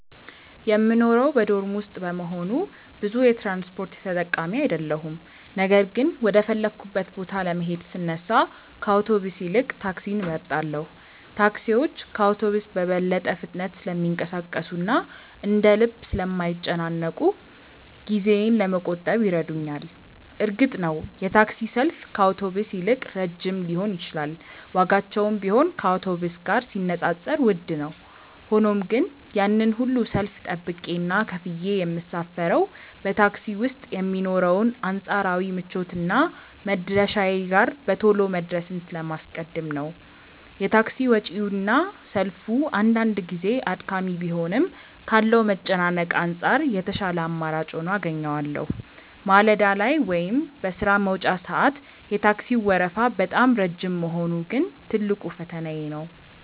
የምኖረው በዶርም ውስጥ በመሆኑ ብዙ የትራንስፖርት ተጠቃሚ አይደለሁም ነገር ግን ወደ ፈለግኩበት ቦታ ለመሄድ ስነሳ ከአውቶቡስ ይልቅ ታክሲን እመርጣለሁ። ታክሲዎች ከአውቶቡስ በበለጠ ፍጥነት ስለሚንቀሳቀሱና እንደ ልብ ስለማይጨናነቁ ጊዜዬን ለመቆጠብ ይረዱኛል። እርግጥ ነው የታክሲ ሰልፍ ከአውቶቡስ ይልቅ ረጅም ሊሆን ይችላል ዋጋቸውም ቢሆን ከአውቶቡስ ጋር ሲነጻጸር ውድ ነው። ሆኖም ግን ያንን ሁሉ ሰልፍ ጠብቄና ከፍዬ የምሳፈረው በታክሲ ውስጥ የሚኖረውን አንጻራዊ ምቾትና መድረሻዬ ጋር በቶሎ መድረስን ስለማስቀድም ነው። የታክሲ ወጪውና ሰልፉ አንዳንድ ጊዜ አድካሚ ቢሆንም ካለው መጨናነቅ አንጻር የተሻለ አማራጭ ሆኖ አገኘዋለሁ። ማለዳ ላይ ወይም በሥራ መውጫ ሰዓት የታክሲው ወረፋ በጣም ረጅም መሆኑ ግን ትልቁ ፈተናዬ ነው።